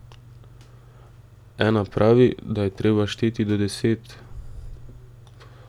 Ena pravi, da je treba šteti do deset.